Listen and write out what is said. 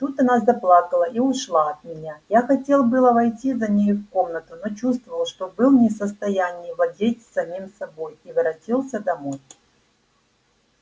тут она заплакала и ушла от меня я хотел было войти за нею в комнату но чувствовал что был не в состоянии владеть самим собою и воротился домой